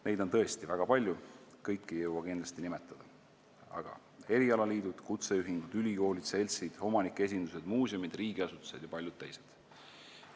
Neid on tõesti väga palju, kõiki ei jõua kindlasti nimetada: erialaliidud, kutseühingud, ülikoolid, seltsid, omanike esindused, muuseumid, riigiasutused ja paljud teised.